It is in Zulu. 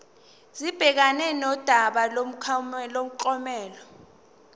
sibhekane nodaba lomklomelo